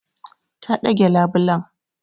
Ta ɗage labulen.